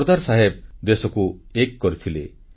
ସର୍ଦ୍ଦାର ସାହେବ ଦେଶକୁ ଏକ କରିଥିଲେ